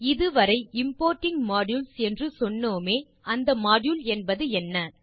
இது வரை importing modules என்று சொன்னோமே அந்த மாடியூல் என்பது என்ன